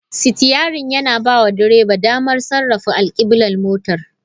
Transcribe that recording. Sitiyarin yana bawa direba damar sarrafa alkiblar motar.